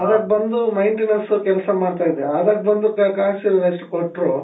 ಆವಾಗ್ ಬಂದು maintenance ಕೆಲ್ಸ ಮಾಡ್ತಾ ಇದ್ದೆ ಆಗಾಗ ಬಂದು cash ಅಷ್ಟು ಕೊಟ್ರು .